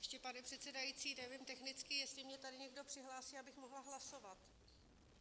Ještě, pane předsedající, nevím technicky, jestli mě tady někdo přihlásí, abych mohla hlasovat.